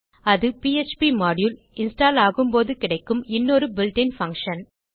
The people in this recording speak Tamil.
அது பிஎச்பி மாடியூல் இன்ஸ்டால் ஆகும் போது கிடைக்கும் இன்னொரு built இன் பங்ஷன்